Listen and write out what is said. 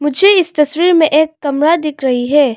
मुझे इस तस्वीर में एक कमरा दिख रही है।